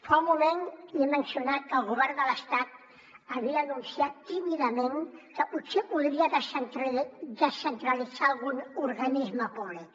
fa un moment li he mencionat que el govern de l’estat havia anunciat tímidament que potser podria descentralitzar algun organisme públic